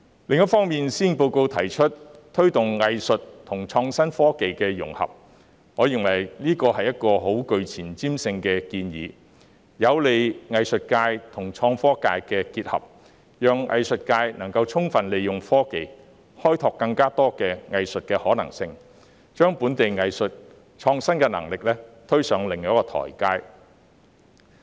另一方面，施政報告提出推動藝術與創新科技的融合，我認為這是一個相當具前瞻性的建議，有利藝術界與創科界結合，讓藝術界能充分利用科技開拓更多的藝術可行性，將本地藝術的創新能力推上另一台階。